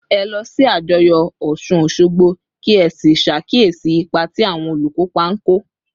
Ẹ lọ sí àjọyọ̀ Òsun-òṣogbo, kí ẹ sì ṣàkíyèsí ipa tí àwọn olùkópa ń kó